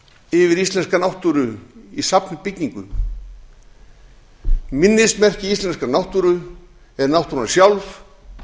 yfir íslenska náttúru í safnbyggingum minnismerki íslenskrar náttúru er náttúran sjálf